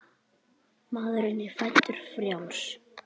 Maðurinn er fæddur frjáls.